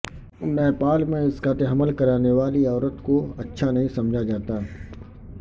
نیپال میں اسقاط حمل کرانے والی عورت کو اچھا نہیں سمجھا جاتا